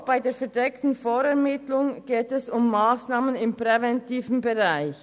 Auch bei der verdeckten Vorermittlung geht es um Massnahmen im präventiven Bereich.